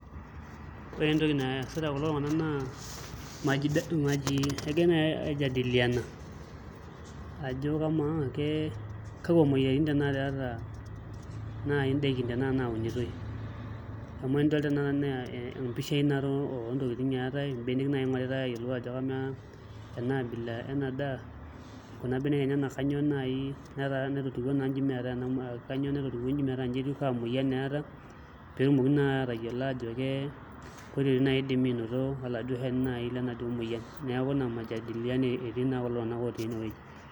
Ore entoki naasita kulo tung'anak naa egirai naai aijadiliana ajo kamaa kakwa moyiaritin tanakata eeta naai ndaikin tanakata naunitoi amu enidol tanakata naa mpishai natii oontokitin eetai mbenek naai ing'oritai aajo kamaa ena abila ena daa kuna benek enyenak kanyioo naai naitotiwuo naai nji metaa nji etiu kaa muoyian eeta, nidimi naai aatayiolo aajo ketia oitooi naai idimi aanoto oladuo shani naai lenaduo muoyian neeku ina majadiliano etii naa kulo tung'anak otii enewueji.